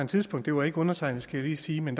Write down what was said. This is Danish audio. tidspunkt det var ikke undertegnede skal jeg lige sige men